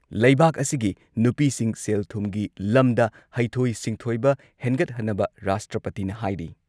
ꯂꯩꯕꯥꯥꯛ ꯑꯁꯤꯒꯤ ꯅꯨꯄꯤꯁꯤꯡ ꯁꯦꯜ ꯊꯨꯝꯒꯤ ꯂꯝꯗ ꯍꯩꯊꯣꯏ ꯁꯤꯡꯊꯣꯏꯕ ꯍꯦꯟꯒꯠꯍꯟꯅꯕ ꯔꯥꯁꯇ꯭ꯔꯄꯇꯤꯅ ꯍꯥꯏꯔꯤ ꯫